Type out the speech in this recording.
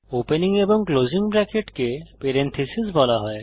opening এবং closing ব্রেকেটকে parentheses বলা হয়